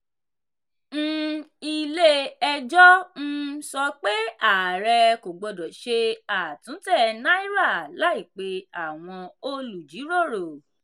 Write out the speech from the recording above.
um ilé-ẹjọ́ um sọ pé àárẹ kò gbọdọ̀ ṣe àtúntẹ̀ náírà láì pè àwọn olùjíròrò.